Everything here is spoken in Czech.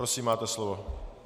Prosím, máte slovo.